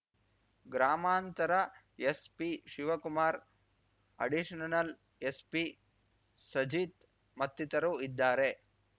ಗ್ರಾಮಾಂತರ SP Shivakumar additional SP Sajith ಮತ್ತಿತರು ಇದ್ದಾರೆ